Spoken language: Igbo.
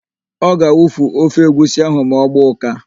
Ọ ga-awufu ofe egwusi ahụ ma ọ gbaa ụ́ká.